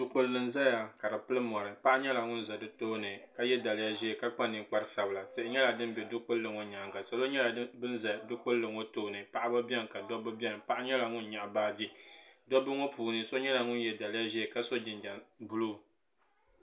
Dukpuli n zaya ka di pili mori paɣa nyala ŋun ʒi di tooni ka ye daliya ʒee ka kpa ninkpara sabila tihi nyala din biɛ dukpuli maa nyaaŋa paɣaba beni ka dobba beni paɣa nyɛla ŋun nyaɣi baagi dobba ŋɔ puuni so nyɛla ŋun nyaɣi baagi ka so jinjam buluu.